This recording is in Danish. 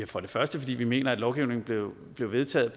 for det første fordi vi mener at lovgivningen blev vedtaget